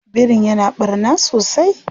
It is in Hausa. Birin ya na ɓarna sosai?